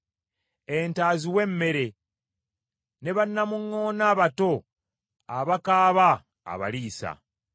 Ente aziwa emmere, ne bannamuŋŋoona abato abakaaba abaliisa.